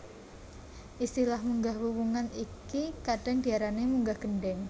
Istilah munggah wuwungan iki kadhang diarani munggah gendeng